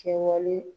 Kɛwale